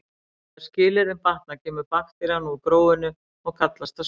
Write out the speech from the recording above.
Þegar skilyrðin batna kemur bakterían úr gróinu og kallast það spírun.